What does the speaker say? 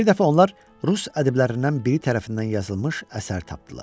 Bir dəfə onlar Rus ədiblərindən biri tərəfindən yazılmış əsər tapdılar.